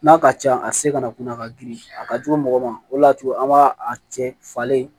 N'a ka ca a se kana kuna ka girin a ka jugu mɔgɔ ma o de y'a to an b'a a cɛ falen